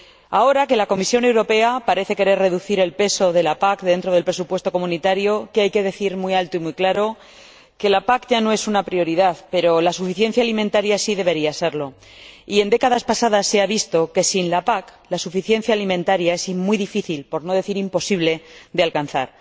Ahora que la Comisión Europea parece querer reducir el peso de la PAC dentro del presupuesto comunitario, hay que decir muy alto y muy claro que la PAC ya no es una prioridad, pero la suficiencia alimentaria sí debería serlo, y en décadas pasadas se ha visto que sin la PAC la suficiencia alimentaria es muy difícil, por no decir imposible, de alcanzar.